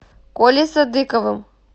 колей садыковым